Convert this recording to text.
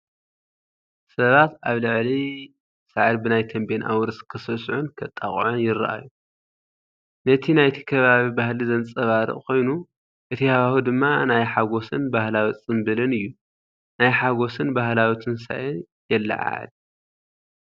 ሰባት ኣብ ልዕሊ ሳዕሪ ብናይ ቴምቤን ኣውርስ ክስዕስዑን ከጣቕዑን ይረኣዩ። ነቲ ናይቲ ከባቢ ባህሊ ዘንጸባርቕ ኮይኑ፡ እቲ ሃዋህው ድማ ናይ ሓጎስን ባህላዊ ጽምብልን እዩ። ናይ ሓጎስን ባህላዊ ትንሳኤን የለዓዕል።